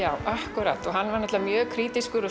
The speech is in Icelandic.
akkúrat hann var mjög krítískur og